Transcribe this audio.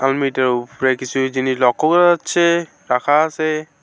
আলমারিটার উপরে কিছু জিনিস লক্ষ্য করা যাচ্ছে রাখা আসে।